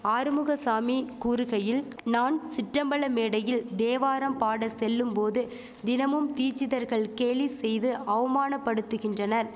ஆறுமுகசாமி கூறுகையில் நான் சிற்றம்பல மேடையில் தேவாரம் பாட செல்லும் போது தினமும் தீசிதர்கள் கேலி செய்து அவமானபடுத்துகின்றனர்